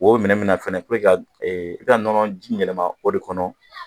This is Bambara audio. O minɛn bɛna fana i ka nɔnɔji yɛlɛma o minɛn kɔnɔ